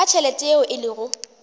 ka tšhelete yeo e lego